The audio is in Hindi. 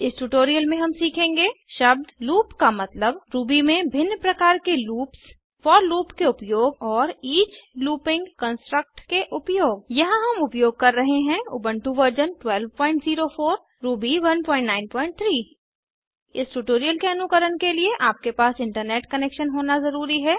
इस ट्यूटोरियल में हम सीखेंगे शब्द लूप का मतलब रूबी में भिन्न प्रकार के लूप्स फोर लूप के उपयोग और ईच लूपिंग कन्स्ट्रक्ट के उपयोग यहाँ हम उपयोग कर रहे हैं उबन्टु वर्जन 1204 रूबी 193 इस ट्यूटोरियल के अनुकरण के लिए आपके पास इंटनेट कनैक्शन होना ज़रूरी है